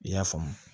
I y'a faamu